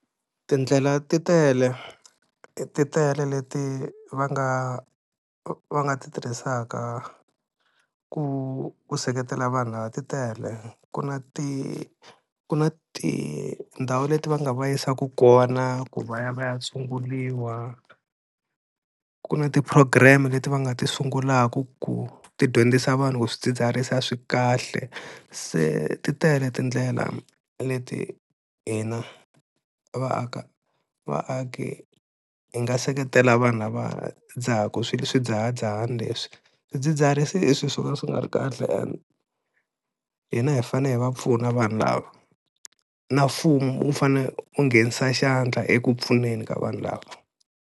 Tindlela ti tele ti tele leti va nga va nga ti tirhisaka ku ku seketela vanhu lava ti tele, ku na ti ku na tindhawu leti va nga va yisaka kona ku va ya va ya tshunguriwa, ku na ti-program leti va nga ti sungulaka ku ti dyondzisa vanhu ku swidzidziharisi a swi kahle, se ti tele tindlela leti hina vaaka vaaki hi nga seketela vanhu lava dzahaka swi swidzahadzahani leswi, swidzidziharisi i swilo swo ka swi nga ri kahle, hina hi fanele hi va pfuna vanhu lava na mfumo wu fanele wu nghenisa xandla eku pfuneni ka vanhu lava.